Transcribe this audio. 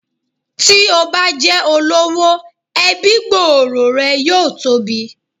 Tí o bá jẹ́ olówó, ẹbí gbòòrò rẹ yóò tóbi.